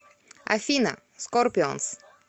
афина скорпионс